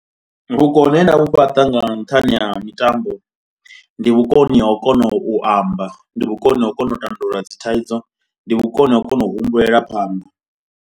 Vhukoni he nda vhu fhaṱa nga nṱhani ha mitambo ndi vhukoni ha u kona u amba, ndi vhukoni ha u kona u tandulula dzi thaidzo, ndi vhukoni ha u kona u humbulela phanḓa.